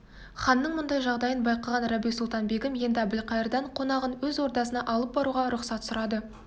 ханның мұндай жағдайын байқаған рабиу-сұлтан-бегім енді әбілқайырдан қонағын өз ордасына алып баруға рұқсат сұрады